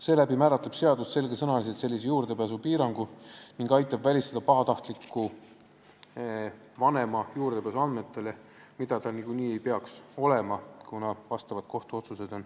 Seadus määratleb sellise juurdepääsupiirangu sõnaselgelt ning aitab välistada pahatahtliku vanema juurdepääsu andmetele, millele tal ligipääsu niikuinii olema ei peaks, kuna jõustunud on vastavad kohtuotsused.